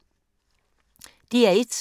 DR1